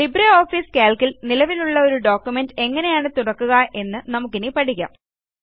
Libre office Calc ൽ നിലവിലുള്ള ഒരു ഡോക്യുമെന്റ് എങ്ങനെയാണ് തുറക്കുക എന്ന് നമുക്കിനി പഠിക്കാം